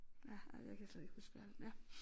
Ja ej jeg kan slet ikke huske hvad ja